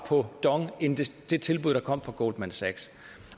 på dong end det tilbud der kom fra goldman sachs